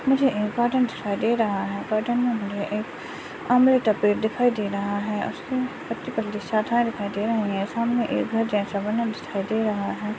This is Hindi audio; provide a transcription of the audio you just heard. मुझे एक गार्डन दिखाई दे रहा है गार्डन मे मुझे एक अमरूत का पेड़ दिखाई दे रहा है शाखाये दिखाई दे रही है सामने एक घर जैसा बना हुआ दिखाई दे रहा।